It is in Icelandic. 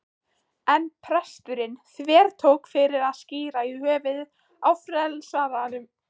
En presturinn þvertók fyrir að skíra í höfuðið á frelsaranum.